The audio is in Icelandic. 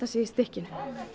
sig í stykkinu